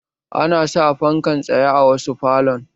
Ana sa fankan tsaye a wasu falon